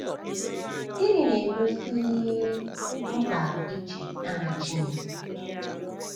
um Gịnị na-egosi um mkpa iji aha Chineke?